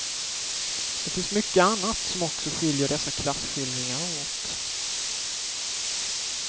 Det finns mycket annat som också skiljer dessa klasskildringar åt.